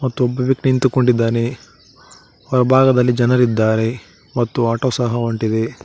ಮತ್ತು ಒಬ್ಬ ವ್ಯಕ್ತಿ ನಿಂತುಕೊಂಡಿದ್ದಾನೆ ಬಲಭಾಗದಲ್ಲಿ ಜನರಿದ್ದಾರೆ ಮತ್ತು ಆಟೋ ಸಹ ಹೊಂಟಿದೆ.